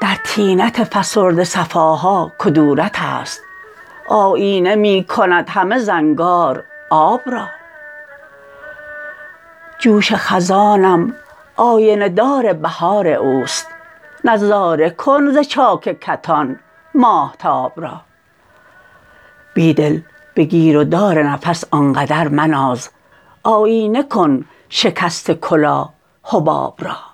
در طینت فسرده صفاها کدورت است آیینه می کند همه زنگار آب را جوش خزانم آینه دار بهار اوست نظاره کن ز چاک کتان ماهتاب را بیدل به گیرودار نفس آنقدر مناز آیینه کن شکست کلاه حباب را